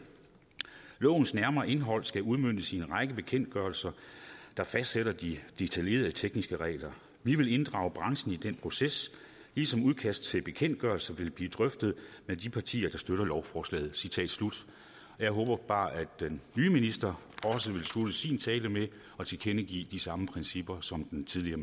lovens nærmere indhold skal udmøntes i en række bekendtgørelser der fastsætter de detaljerede tekniske regler vi vil inddrage branchen i den proces ligesom udkast til bekendtgørelser vil blive drøftet af de partier der støtter lovforslaget citat slut jeg håber bare at den nye minister også vil slutte sin tale med at tilkendegive de samme principper som den tidligere